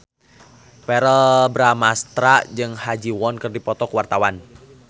Verrell Bramastra jeung Ha Ji Won keur dipoto ku wartawan